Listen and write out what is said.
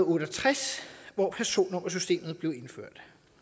otte og tres hvor personnummersystemet blev indført